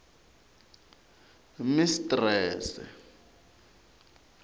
mistrese